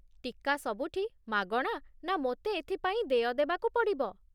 ଟୀକା ସବୁଠି ମାଗଣା ନା ମୋତେ ଏଥିପାଇଁ ଦେୟ ଦେବାକୁ ପଡ଼ିବ?